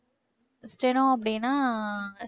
steno அப்படின்னா